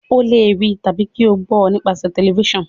o le rí àti kí o gbó nípasẹ Tẹlifísàn.